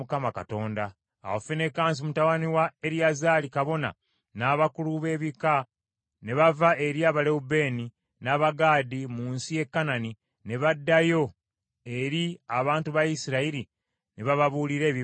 Awo Finekaasi mutabani wa Eriyazaali kabona, n’abakulu b’ebika ne bava eri Abalewubeeni, n’Abagaadi mu nsi ye Kanani, ne baddayo eri abantu ba Isirayiri ne bababuulira ebibaddeyo.